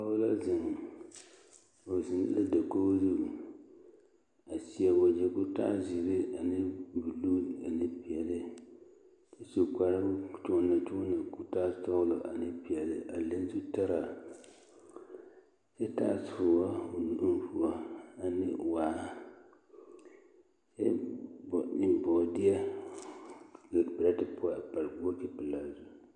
Pɔgɔ la zeŋ o zeŋ la dakogo zuŋ a seɛ wagyɛ koo taa zeere ane buluu ane peɛle kyɛ su kparo kyoomakyooma koo taa sɔɔlɔ ane peɛle a le zutaraa kyɛ taa soɔ o nu poɔane waar ɛbbo ne boodeɛ lere berete poɔŋ a pare bokoti pelaa zuŋ.